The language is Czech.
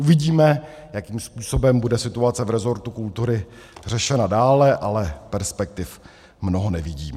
Uvidíme, jakým způsobem bude situace v rezortu kultury řešena dále, ale perspektiv mnoho nevidím.